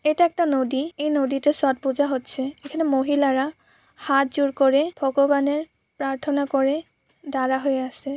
এটা একটা নদী এই নদীটা ছট পূজা হচ্ছে। এখানে মহিলারা হাতজোড় করে ভগবানের প্রার্থনা করে দাঁড়া হয়ে আছে।